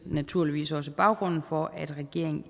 naturligvis også baggrunden for at regeringen